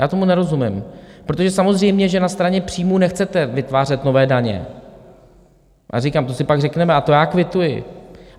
Já tomu nerozumím, protože samozřejmě že na straně příjmů nechcete vytvářet nové daně, ale říkám, to si pak řekneme, a to já kvituji.